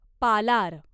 Palar